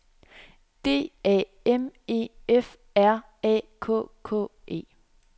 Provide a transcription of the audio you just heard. D A M E F R A K K E